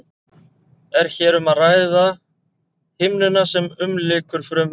er hér um að ræða himnuna sem umlykur frumuna sjálfa